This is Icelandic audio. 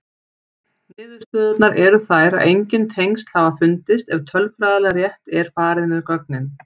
Niðurstöðurnar eru þær að engin tengsl hafa fundist ef tölfræðilega rétt er farið með gögnin.